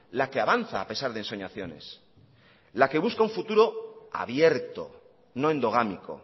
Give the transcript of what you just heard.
la que avanza a pesar de ensoñaciones la que busca un futuro abierto no endogámico